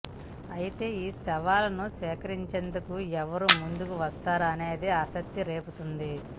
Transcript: అయితే ఈ సవాల్ ను స్వీకరించేందుకు ఎవరు ముందుకు వస్తారనేది ఆసక్తి రేపుతోంది